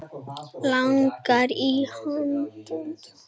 Langar að hrista mig til.